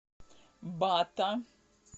бата